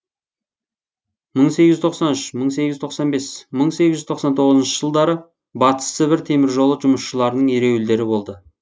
мың сегіз жүз тоқсан үш мың сегіз жүз тоқсан бес мың сегіз жүз тоқсан тоғызыншы жылдары батыс сібір теміржолы жұмысшыларының ереуілдері болды